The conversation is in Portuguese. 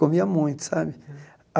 Comia muito, sabe?